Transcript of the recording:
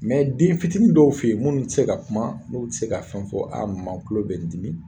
Mɛ den fitinin dɔw fe yen munnu te se ka kuma n'u te se ka fɛn fɔ a mama n kulo bɛ n dimi